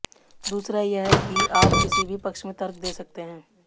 दूसरा यह कि आप किसी भी पक्ष में तर्क दे सकते हैं